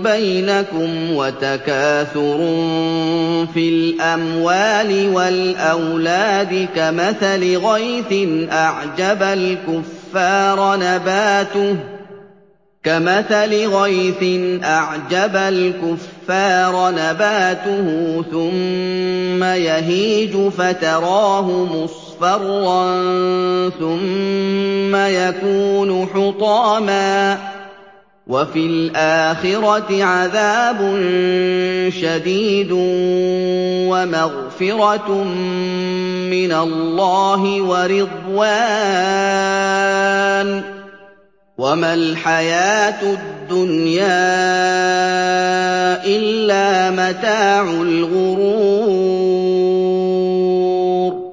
بَيْنَكُمْ وَتَكَاثُرٌ فِي الْأَمْوَالِ وَالْأَوْلَادِ ۖ كَمَثَلِ غَيْثٍ أَعْجَبَ الْكُفَّارَ نَبَاتُهُ ثُمَّ يَهِيجُ فَتَرَاهُ مُصْفَرًّا ثُمَّ يَكُونُ حُطَامًا ۖ وَفِي الْآخِرَةِ عَذَابٌ شَدِيدٌ وَمَغْفِرَةٌ مِّنَ اللَّهِ وَرِضْوَانٌ ۚ وَمَا الْحَيَاةُ الدُّنْيَا إِلَّا مَتَاعُ الْغُرُورِ